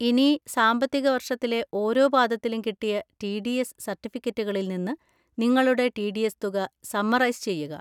ഇനി സാമ്പത്തിക വർഷത്തിലെ ഓരോ പാദത്തിലും കിട്ടിയ ടി. ഡി. എസ് സർട്ടിഫിക്കറ്റുകളിൽ നിന്ന് നിങ്ങളുടെ ടി. ഡി. എസ് തുക സമ്മറൈസ് ചെയ്യുക.